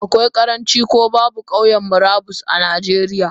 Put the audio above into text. Akwai karanci ko babu Kauyan murabus a najeriya.